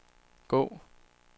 gå